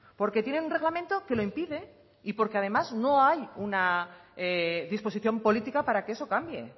porque tiene un reglamento que lo impide y porque además no hay una disposición política para que eso cambie